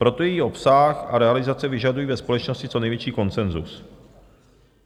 Proto její obsah a realizace vyžadují ve společnosti co největší konsenzus.